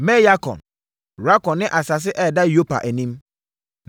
Me-Yarkon, Rakon ne asase a ɛda Yopa anim.